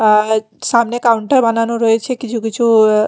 আজ সামনে কাউন্টার বানানো রয়েছে কিছু কিছু এ্যা--